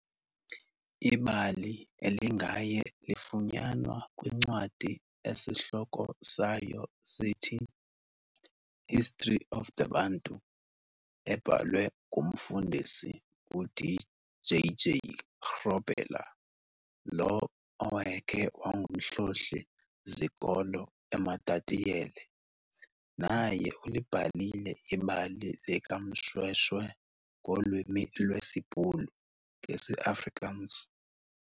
Ibali elingaye lifunyanwa kwincwadi esihloko sayo sithi "History of The Bantu", ebhalwe ngumfundisi uD. J.J Grobbelaar, lo owayekhe wangumhloli-zikolo eMatatiele, naye ulibhalile ibali likaMShweshwe ngolwimi lwesiBhulu, ngesi-Afrikaans.